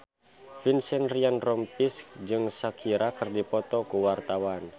Vincent Ryan Rompies jeung Shakira keur dipoto ku wartawan